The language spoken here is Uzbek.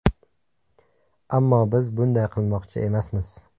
Ammo biz bunday qilmoqchi emasmiz.